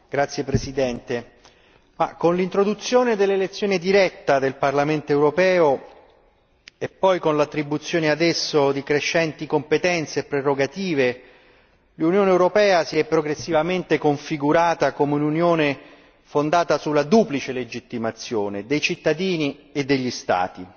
Signor Presidente, onorevoli colleghi, con l'introduzione dell'elezione diretta del Parlamento europeo e poi con l'attribuzione ad esso di crescenti competenze e prerogative, l'Unione europea si è progressivamente configurata come un'Unione fondata sulla duplice legittimazione dei cittadini e degli Stati.